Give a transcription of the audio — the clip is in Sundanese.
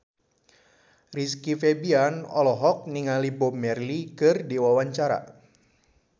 Rizky Febian olohok ningali Bob Marley keur diwawancara